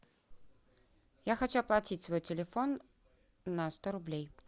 я хочу оплатить свой телефон на сто рублей